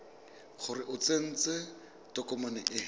gore o tsentse tokomane e